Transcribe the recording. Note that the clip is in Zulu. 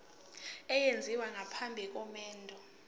esenziwa phambi komendo